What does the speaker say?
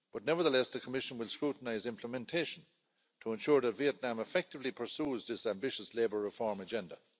But nevertheless, the Commission will scrutinise implementation to ensure that Vietnam effectively pursues this ambitious labour reform agenda.